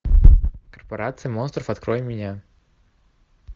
корпорация монстров открой мне